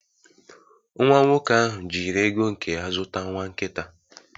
Nwa nwoke ahụ jiri ego nke ya zụta nwa nkita